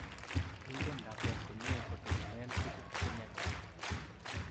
Inginet lakwet komyee kotogunen tuguuk chemyach